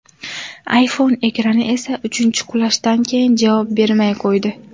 iPhone ekrani esa uchinchi qulashdan keyin javob bermay qo‘ydi.